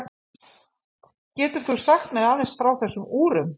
Getur þú sagt mér aðeins frá þessum úrum?